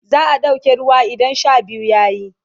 za'a ɗauke ruwa idan Sha biyu yayi